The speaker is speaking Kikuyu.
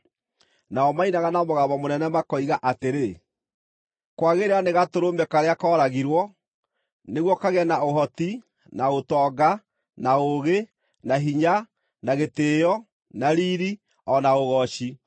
Nao mainaga na mũgambo mũnene, makoiga atĩrĩ: “Kwagĩrĩra nĩ Gatũrũme, karĩa kooragirwo, nĩguo kagĩe na ũhoti, na ũtonga, na ũũgĩ, na hinya, na gĩtĩĩo, na riiri, o na ũgooci!”